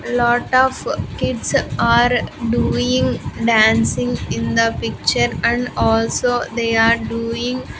Lot of kids are doing dancing in the picture and also they are doing --